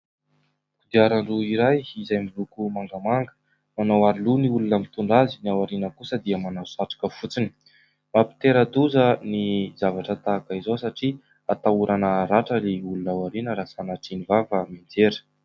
Kodiaran-droa iray izay miloko mangamanga, manao aroloha ny olona mitondra azy, ny ao aoriana kosa dia manao satroka fotsiny. Mampitera-doza ny zavatra tahaka an'izao satria ahatahorana haratra ny olona ao aoriana raha sanatria ny vava raha mianjera.